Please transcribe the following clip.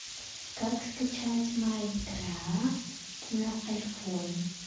как скачать майн крафт на айфон